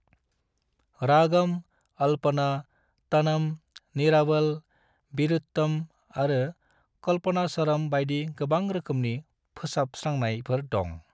रागम, अल्पना, तनम, निरावल, विरुत्तम आरो कल्पनास्वरम बायदि गोबां रोखोमनि फोसाबस्रांनायफोर दं।